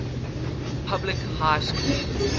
public high schools